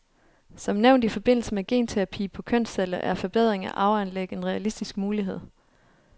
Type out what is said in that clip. Som nævnt i forbindelse med genterapi på kønsceller er forbedring af arveanlæg en realistisk mulighed.